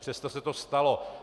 Přesto se to stalo.